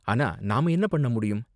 ஆனா நாம என்ன பண்ண முடியும்?